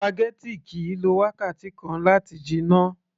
spaghetti kìí lo wákàtí kan láti jiná